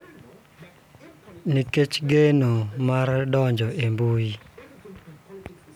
Nikech geno mar donjo e mbui.